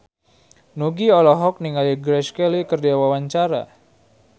Nugie olohok ningali Grace Kelly keur diwawancara